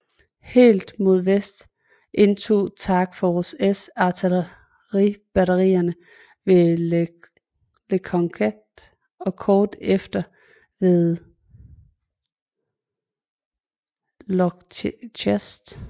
Helt mod vest indtog Task force S artilleribatterierne ved Le Conquet og kort efter de ved Lochrist